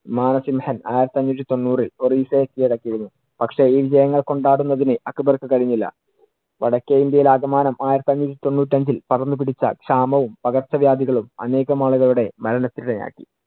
മാനസിംഹൻ ആയിരത്തി അഞ്ഞൂറ്റി തൊണ്ണൂറിൽ ഒറിസ്സയെ കിഴടക്കി ഇരുന്നു. പക്ഷെ ഈ വിജയങ്ങൾ കൊണ്ടാടുന്നതിനു അക്ബർക്ക് കഴിഞ്ഞില്ല. വടക്കേ ഇന്ത്യയിൽ ആകമാനം ആയിരത്തി അഞ്ഞൂറ്റി തൊണ്ണൂറ്റ് രണ്ടില്‍ പടർന്നു പിടിച്ച ക്ഷാമവും പകർച്ച വ്യാധികളും അനേകം ആളുകളുടെ മരണത്തിന് ഇടയാക്കി.